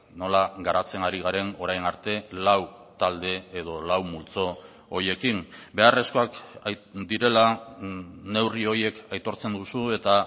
nola garatzen ari garen orain arte lau talde edo lau multzo horiekin beharrezkoak direla neurri horiek aitortzen duzu eta